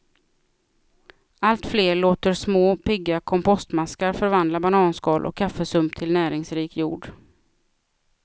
Allt fler låter små, pigga kompostmaskar förvandla bananskal och kaffesump till näringsrik jord.